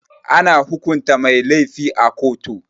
Ana hukunta mai lafi a koto.